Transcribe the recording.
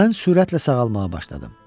Mən sürətlə sağalmağa başladım.